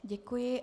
Děkuji.